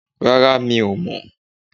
Rárá, mi ò mọ̀